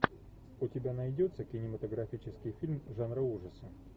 у тебя найдется кинематографический фильм жанра ужасы